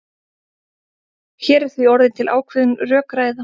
Hér er því orðin til ákveðin rökræða.